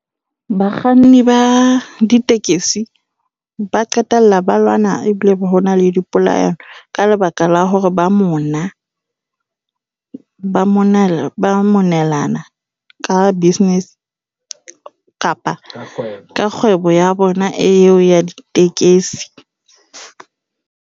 Bakganni ba ditekesi ba qetella ba lwana ebile hona le dipolayano, ka lebaka la hore ba mona. Ba monela ba monelana ka business kapa ka kgwebo ya bona eo ya ditekesi.